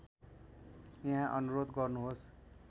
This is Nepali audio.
यहाँ अनुरोध गर्नुहोस्